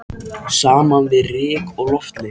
Saman við hana ryk og loftleysi.